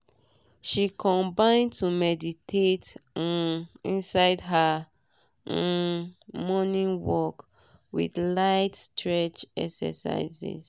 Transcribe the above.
she combin to meditate um inside her um morning work with light stretch exercises.